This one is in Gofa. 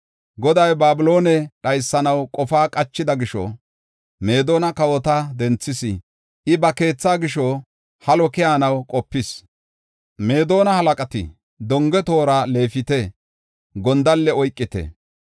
“Goday Babiloone dhaysanaw qofa qachida gisho, Meedona kawota denthis. I ba keethaa gisho halo keyanaw qopis. Meedona halaqati, ‘Donge toora leefite; gondalle oykite.